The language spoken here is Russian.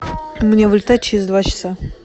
мне вылетать через два часа